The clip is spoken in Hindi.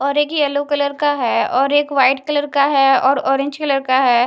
और एक येलो कलर का है और एक व्हाइट कलर का है और ऑरेंज कलर का है।